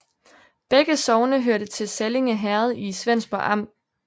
Begge sogne hørte til Sallinge Herred i Svendborg Amt